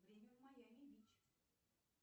время в майами бич